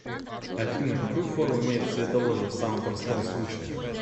афина какую форму имеет цветоложе в самом простом случае